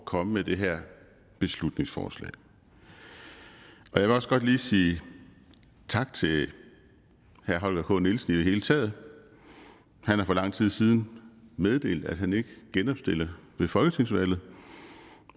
komme med det her beslutningsforslag jeg vil også godt lige sige tak til herre holger k nielsen i det hele taget han har for lang tid siden meddelt at han ikke genopstiller ved folketingsvalget